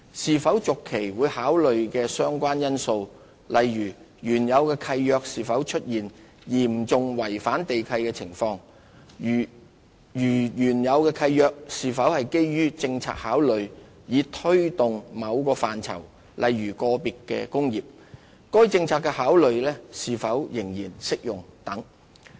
是否續期會考慮的相關因素，例如原有契約是否出現嚴重違反地契的情況；如原有契約是基於政策考慮以推動某範疇，該政策考慮是否仍然適用等。